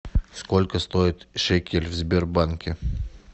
сколько стоит шекель в сбербанке